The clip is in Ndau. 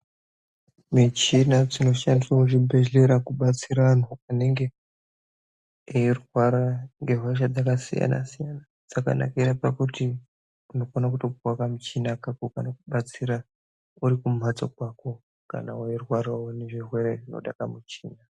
Michina dzino shandiswa mu zvibhedhlera kubatsira antu anenge eyi rwara nge hosha dzaka siyana siyana dzakanakira pakuti unokona kutopuwa ka muchina kako kanoku batsira uri ku mhatso kwako kana weyi rwarawo ne zvirwere zvinoda ka muchina.